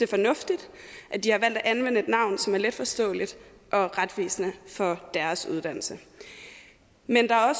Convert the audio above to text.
fornuftigt at de har valgt at anvende et navn som er letforståeligt og retvisende for deres uddannelse men der er